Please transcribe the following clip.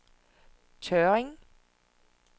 Tørring